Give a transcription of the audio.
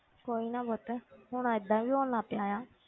ਕੋਈ ਨਾ ਪੁੱਤ ਹੁਣ ਏਦਾਂ ਵੀ ਹੋਣ ਲੱਗ ਪਿਆ ਆ,